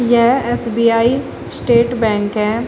यह S B I state bank है।